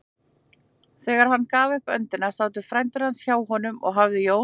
Þegar hann gaf upp öndina sátu frændur hans hjá honum og hafði Jón